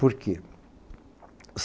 Por quê?